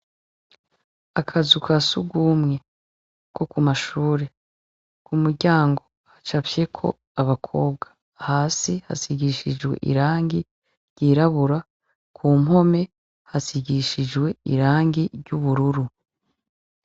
Akazu ka sugumwe ko ku mashure, ku muryango hacafyeko abakobwa , hasi hasigishijwe irangi ryirabura ku mpome hasigishijwe irangi ry'ubururu.